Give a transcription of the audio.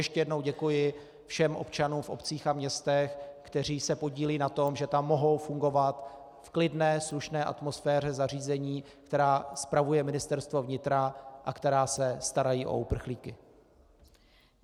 Ještě jednou děkuji všem občanům v obcích a městech, kteří se podílejí na tom, že tam mohou fungovat v klidné slušné atmosféře zařízení, která spravuje Ministerstvo vnitra a která se starají o uprchlíky.